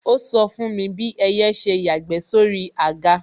Ó sọ fún mi bí ẹyẹ ṣe yàgbẹ́ sóri àga